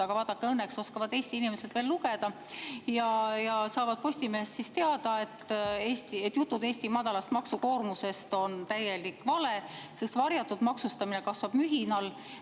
Aga vaadake, õnneks oskavad Eesti inimesed veel lugeda ja saavad Postimehest teada, et jutud Eesti madalast maksukoormusest on täielik vale, sest varjatud maksustamine kasvab mühinal.